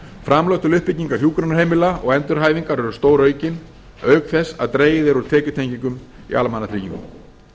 framlög til uppbyggingar hjúkrunarheimila og endurhæfingar eru stóraukin auk þess að dregið er úr tekjutengingum í almannatryggingum